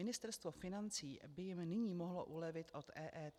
Ministerstvo financí by jim nyní mohlo ulevit od EET.